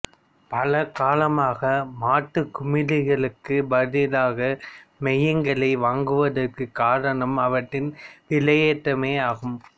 பல காலமாக மாற்றுக் குமிழ்களுக்குப் பதிலாக மையங்களை வாங்குவதற்குக் காரணம் அவற்றின் விலையேற்றமே ஆகும்